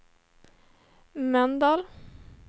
Mölndal